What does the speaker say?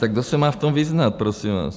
Tak kdo se má v tom vyznat prosím vás?